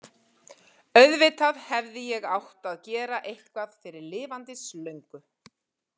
Auðvitað hefði ég átt að gera eitthvað fyrir lifandis löngu.